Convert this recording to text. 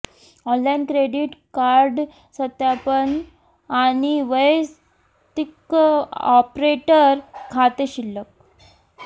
online credit card सत्यापन आणि वैयक्तिक ऑपरेटर खाते शिल्लक